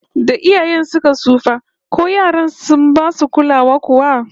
Da iyayen suka tsufa, ko yaran sun basu kulawa kuwa?